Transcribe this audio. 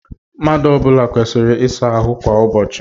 Mmadụ ọ bụla kwesịrị ịsa ahụ kwa ụbọchị.